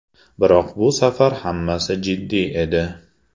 Biroq bu safar hammasi jiddiy edi.